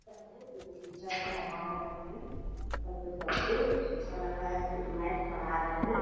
टीचर पढ़ा रहें हैं बच्चे सबको ऐसा लग रहा है मैथ पढ़ा रहे हैं।